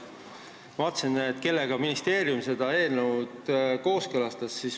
Ma vaatasin, kellega ministeerium seda eelnõu kooskõlastas.